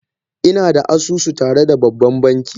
Ina da asusu tare da babban banki